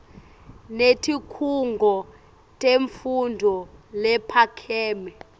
netikhungo temfundvo lephakeme